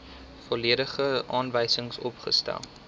volledige aanwysings opgestel